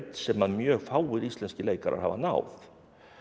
sem mjög fáir íslenskir leikarar hafa náð